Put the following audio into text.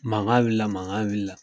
Mankan wulila mankan wulila.